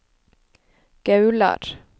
Gaular